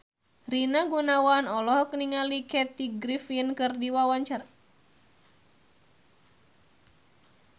Rina Gunawan olohok ningali Kathy Griffin keur diwawancara